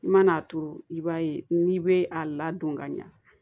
I man'a turu i b'a ye n'i bɛ a ladon ka ɲɛ